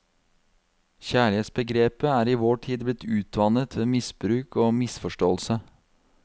Kjærlighetsbegrepet er i vår tid blitt utvannet ved misbruk og misforståelse.